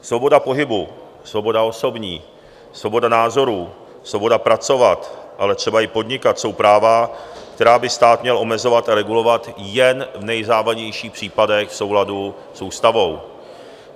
Svoboda pohybu, svoboda osobní, svoboda názorů, svoboda pracovat, ale třeba i podnikat jsou práva, která by stát měl omezovat a regulovat jen v nejzávažnějších případech v souladu s ústavou.